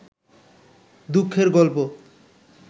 দুঃখের গল্প